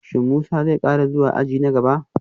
Shin Musa zai kara zuwa aji na gaba?